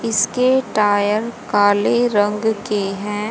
इसके टायर काले रंग के हैं।